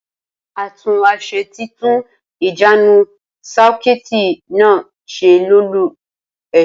Atúnáṣe tí tún ìjánu sakuiiti na ṣe lólú esè